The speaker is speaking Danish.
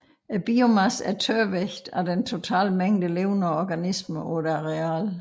Biomassen er tørvægten af den totale mængde levende organismer på et areal